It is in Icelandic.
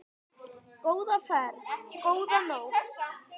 Góða ferð, góða nótt.